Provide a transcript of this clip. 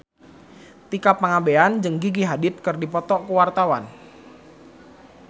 Tika Pangabean jeung Gigi Hadid keur dipoto ku wartawan